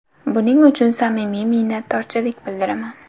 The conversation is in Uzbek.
Buning uchun samimiy minnatdorchilik bildiraman.